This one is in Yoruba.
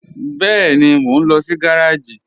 Bẹẹni, mọ̀ n lọ sí gàràjì.